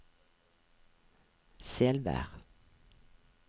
Selvær